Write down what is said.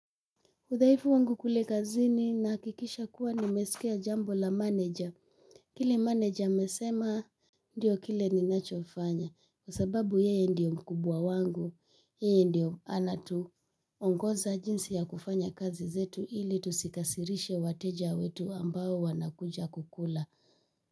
Udhaifu wangu kule kazini nahakikisha kuwa nimesikia jambo la meneja. Kile manager amesema ndio kile ninachofanya. Kwa sababu yeye ndiye mkubwa wangu, yeye ndiye anatuongoza jinsi ya kufanya kazi zetu ili tusiwakasirishe wateja wetu ambao wanakuja kula.